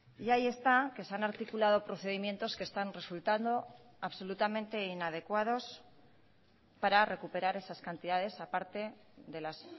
y ahí está que se han articulado procedimientos que están resultando absolutamente inadecuados para recuperar esas cantidades aparte delas